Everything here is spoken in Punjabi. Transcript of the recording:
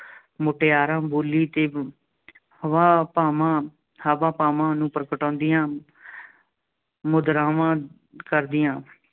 ਮੁਟਿਆਰਾਂ ਬੋਲੀ ਅਤੇ ਹਾਵਾ- ਭਾਵਾਂ, ਹਾਵਾਂ-ਭਾਵਾਂ ਨੂੰ ਪ੍ਰਗਟਾਉਂਦੀਆਂ ਮੁਦਰਾਵਾਂ ਕਰਦੀਆਂ